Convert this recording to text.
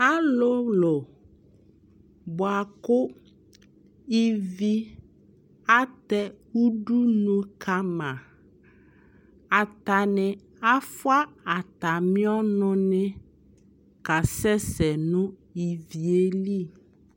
alʋlʋ bʋakʋ ivi atɛ ʋdʋnʋ kama atani aƒʋa atami ɔnʋ ni kasɛsɛ nʋ iviɛli